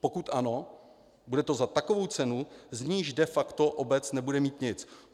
Pokud ano, bude to za takovou cenu, z níž de facto obec nebude mít nic.